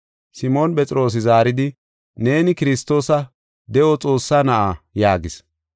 Simoona Phexroosi zaaridi, “Neeni Kiristoosa, de7o Xoossaa na7a” yaagis.